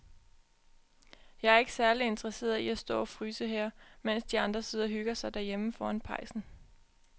Jeg er ikke særlig interesseret i at stå og fryse her, mens de andre sidder og hygger sig derhjemme foran pejsen.